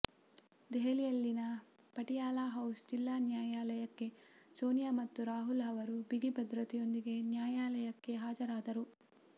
ದೆಹಲಿಯಲ್ಲಿನ Patiala house ಜಿಲ್ಲಾ ನ್ಯಾಯಾಲಯಕ್ಕೆ ಸೋನಿಯಾ ಮತ್ತು ರಾಹುಲ್ ಅವರು ಬಿಗಿ ಭದ್ರತೆಯೊಂದಿಗೆ ನ್ಯಾಯಾಲಯಕ್ಕೆ ಹಾಜರಾದರು